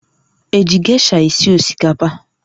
Eji gesha esi osikapa?